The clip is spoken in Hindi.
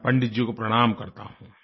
मैं पंडित जी को प्रणाम करता हूँ